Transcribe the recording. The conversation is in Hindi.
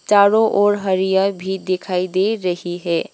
चारों ओर हरिया भी दिखाई दे रही है।